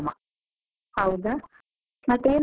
ಹೌದಾ. ಮತ್ತೆ ಏನ್ ಮಾಡ್ತಿದ್ದೀರಿ ಈಗ?